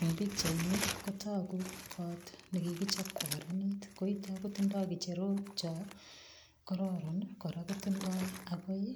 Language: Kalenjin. Eng pichaini kotogu koot nekikichop kokararanit, koitok kotindoi kecherok cho kororon kora kotindoi akoi